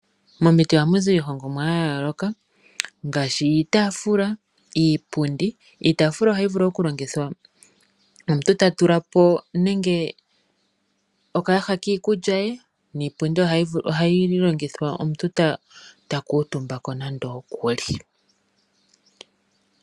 Momiti ohamu zi iihongomwa ya yooloka ngaashi iitaafula, iipundi. Iitaafula ohayi vulu okulongithwa omuntu ta tula po nenge okayaha kiikulya ye, niipundi ohayi longithwa omuntu ta kuutumba ko nando okuli.